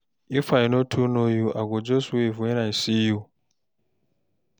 If I no too know you, I go just wave wen I see you.